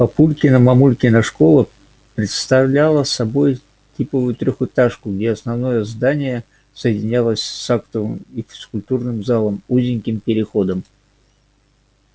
папулькина мамулькина школа представляла собой типовую трёхэтажку где основное здание соединялось с актовым и физкультурным залом узеньким переходом